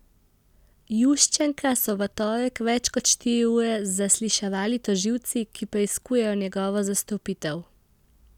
Juščenka so v torek več kot štiri ure zasliševali tožilci, ki preiskujejo njegovo zastrupitev.